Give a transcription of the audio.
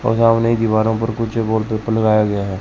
और सामने ही दीवारों पर कुछ वॉलपेपर लगाया गया हैं।